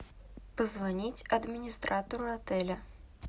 позвонить администратору отеля